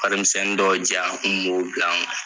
Warimisɛni dɔw di yan, n kun b'o bila n kun.